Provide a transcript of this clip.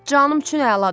Canım üçün əladır.